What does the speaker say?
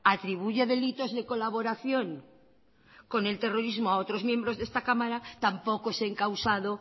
atribuye delitos de colaboración con el terrorismo a otros miembros de esta cámara tampoco es encausado